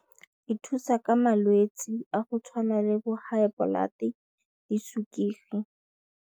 E thusa ka malwetse a go tshwana le bo high blood-e le sukiri.